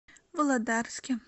володарске